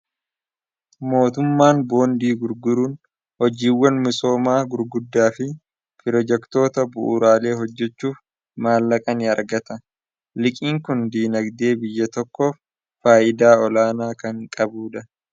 mootummaan boondii gurguruun hojiiwwan misoomaa gurguddaa fi pirojektoota bu'uraalee hojjechuuf maallaqan argata liqiin kun diinagdee biyya tokkoof faayidaa olaanaa kan qabuudha